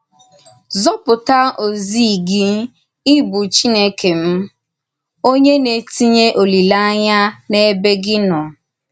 Zọ̣pụ̀tà òzì gị—ị bụ Chínèkè m—onyé na-ètìnyè olílèányà n’ebe gị nọ.